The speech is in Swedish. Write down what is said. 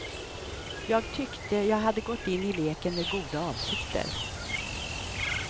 Jag tyckte jag hade gått in i leken med med goda avsikter.